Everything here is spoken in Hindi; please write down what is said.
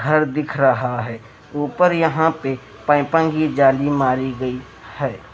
घर दिख रहा है ऊपर यहाँ पे पैपांगी जाली मारी गई है।